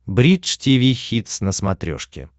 бридж тиви хитс на смотрешке